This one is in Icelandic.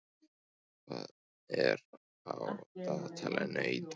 Eir, hvað er á dagatalinu í dag?